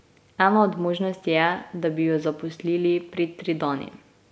Ena od možnosti je, da bi jo zaposlili pri Tridani.